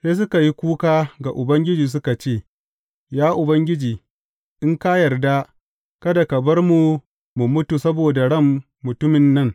Sai suka yi kuka ga Ubangiji suka ce, Ya Ubangiji, in ka yarda kada ka bar mu mu mutu saboda ran mutumin nan.